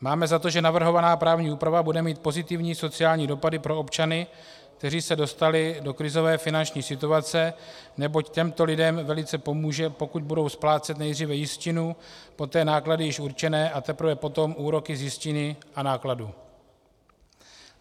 Máme za to, že navrhovaná právní úprava bude mít pozitivní sociální dopady pro občany, kteří se dostali do krizové finanční situace, neboť těmto lidem velice pomůže, pokud budou splácet nejdříve jistinu, poté náklady již určené, a teprve potom úroky z jistiny a nákladů.